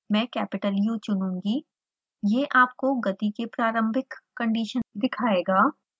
मैं capital u चुनूँगी यह आपको गति velocity की प्रारंभिक कंडीशन दिखायेगा